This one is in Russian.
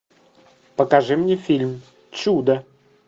покажи мне фильм чудо